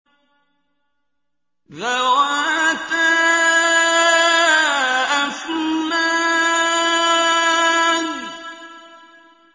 ذَوَاتَا أَفْنَانٍ